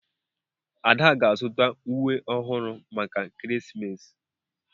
Ada ga-azụta uwe ọhụrụ maka ekeresimesi.